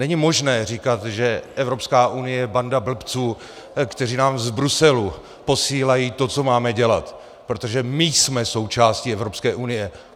Není možné říkat, že Evropská unie je banda blbců, kteří nám z Bruselu posílají to, co máme dělat, protože my jsme součástí Evropské unie.